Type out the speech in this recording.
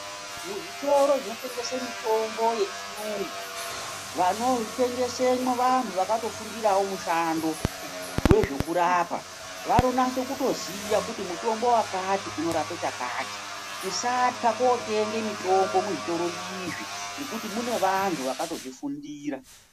Muzvitoro zvinotengese mitombo yechiyungu, vanotengesemo vanhu vakatofundire mushando wezvekurapa, vanonyaso kutoziva kuti mutombo wakati unorape chakati ,tisatya kunotenge mitombo muzvitoro izvi ngekuti mune vanhu vakatozvifundira.